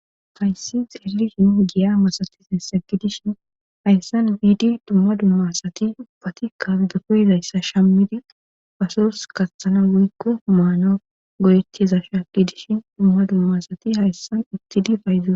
haysis xelishin giya masati insegidishin hayssan wiidi duma duma asati uphatikka dofeyzayssa shammidi pasurs kasathana woykko maana goyetizasha gidishindumaa duma asati hayssan ittidi payzue